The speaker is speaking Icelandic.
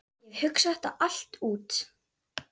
Ég hef hugsað þetta allt út.